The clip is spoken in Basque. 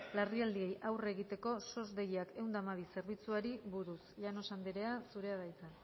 larrialdiei aurre egiteko sos deiakminus ehun eta hamabi zerbitzuari buruz llanos anderea zurea da hitza